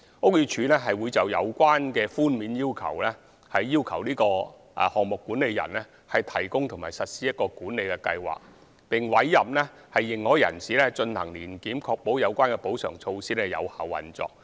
屋宇署會就有關寬免，要求項目管理人提供及實施管理計劃，並委任認可人士進行年檢，以確保有關補償措施有效運作。